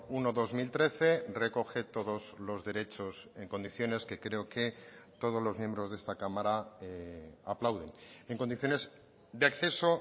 uno barra dos mil trece recoge todos los derechos en condiciones que creo que todos los miembros de esta cámara aplauden en condiciones de acceso